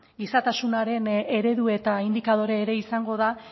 gizatasunaren eredu eta indikadore ere izango da